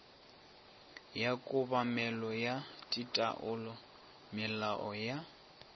ya kobamelo ya taolomolao ya